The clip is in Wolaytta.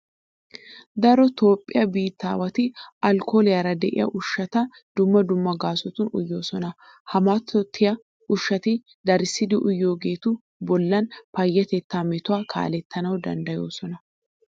Daro Toophphiya biittaawati alkkooliyara de'iya ushshata dumma dumma gaasotun uyoosona. Ha mattoyiya ushshati darissidi uyiyageetu bollan payyatettaa metuwa kaalettanawu danddayoosona.